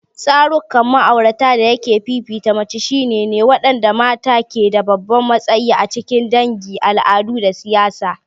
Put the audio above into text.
Tsarukan ma'aurata dayake fifita mace shine ne waɗanda mata ke da babban matsayi a cikin dangi, al'adu, da siyasa.